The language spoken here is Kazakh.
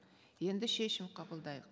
енді шешім қабылдайық